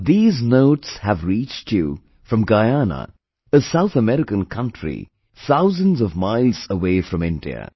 But these notes have reached you from Guyana, a South American country thousands of miles away from India